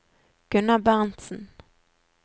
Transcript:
Gunnar Berntzen